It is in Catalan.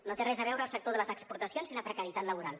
no té res a veure el sector de les exportacions amb la precarietat laboral